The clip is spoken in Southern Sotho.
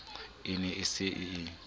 e ne e se e